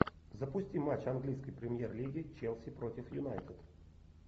запусти матч английской премьер лиги челси против юнайтед